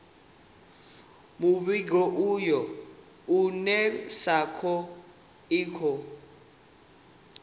muvhigo uyu unesco i khou